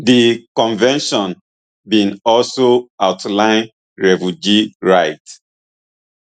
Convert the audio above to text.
di convention bin also outline refugee rights